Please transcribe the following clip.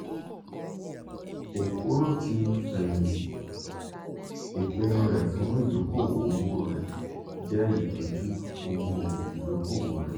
okoro ti feyinti; ipinnu re fun idoko-owo rẹ jẹ itọju owo idokowo re.